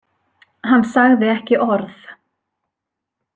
Hann sagði ekki orð.